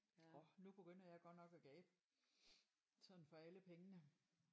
Orh nu begynder jeg godt nok at gabe sådan for alle pengene